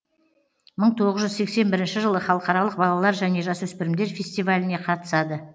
мың тоғыз жүз сексен бірінші жылы халықаралық балалар және жасөспірімдер фестиваліне қатысады